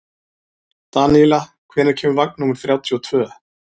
Daníela, hvenær kemur vagn númer þrjátíu og tvö?